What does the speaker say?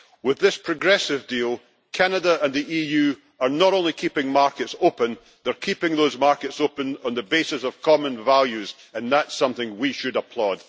With this progressive deal, Canada and the EU are not only keeping markets open, they are keeping those markets open on the basis of common values, and that is something we should applaud.